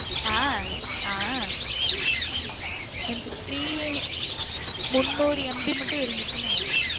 அஹ் அஹ் என்ட three யே முன்னுறு MB மட்டும் இருந்துச்சு நெனைக்குற